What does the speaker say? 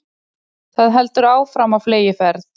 Það heldur áfram á fleygiferð